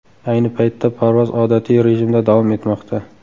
Ayni paytda parvoz odatiy rejimda davom etmoqda.